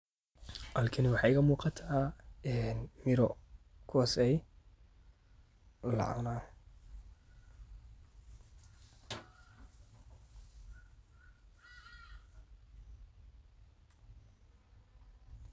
Halkani waxaa iga muqataa miiro, kuwaso lacunah,